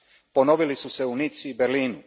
Ponovili su se u Nici i Berlinu.